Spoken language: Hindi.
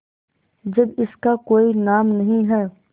जब इसका कोई नाम नहीं है